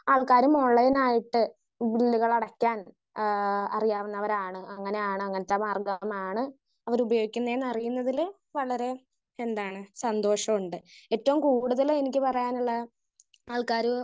Speaker 1 ആൾക്കാരും online ആയിട്ട് ഈ ബില്ലുകൾ അടക്കാൻ ആഹ് അറിയുന്നവരാണ്. അങ്ങനാണ്. അങ്ങനത്തെ മാർഗമാണ് അവര് ഉപയോഗിക്കുന്നതില് വളരെ സന്തോഷോണ്ട്. ഏറ്റവും കൂടുതല് എനിക്ക് പറയാനുള്ള ആൾക്കാര്